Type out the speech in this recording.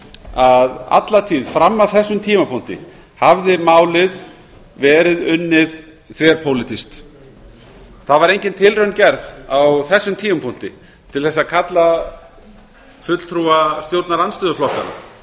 að alla tíð fram að þessum tímapunkti hafði málið verið unnið þverpólitískt það var engin tilraun gerð á þessum tímapunkti til að kalla fulltrúa stjórnarandstöðuflokkanna